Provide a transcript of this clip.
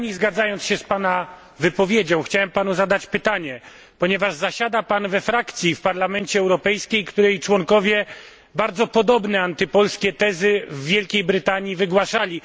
W pełni zgadzając się z Pana wypowiedzią, chciałem Panu zadać pytanie, ponieważ zasiada Pan we frakcji w Parlamencie Europejskim, której członkowie bardzo podobne antypolskie tezy w Wielkiej Brytanii wygłaszali.